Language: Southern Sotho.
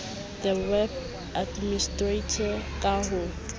le web administrator ka ho